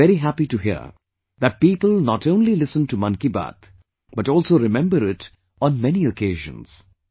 I was very happy to hear that people not only listen to 'Mann KI Baat' but also remember it on many occasions